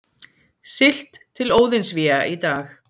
Siglt til Óðinsvéa í dag